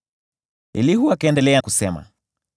Elihu akaendelea kusema: